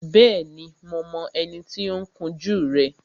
Bẹ́ẹ̀ni, mo mọ ẹni tí ó ń kun jú rẹ